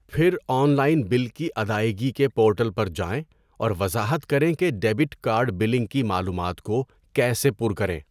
پھر online bill کی ادائیگی کے پورٹل پر جائیں اور وضاحت کریں کہ ڈیبٹ کارڈ بلنگ کی معلومات کو کیسے پُر کریں۔